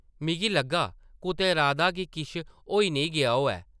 मिगी लग्गा कुतै राधा गी किश होई नेईं गेआ होऐ ।